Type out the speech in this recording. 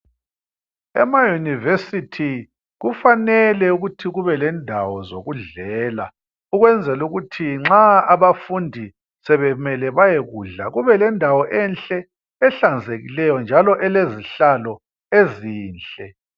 Ema university kufanele ukuthi kube lendawo zokudlela ukwenzela ukuthi nxa abafundi sebemele bayekudla kube lendawo enhle, ehlanzekileyo njalo elezihlalo ezinhle.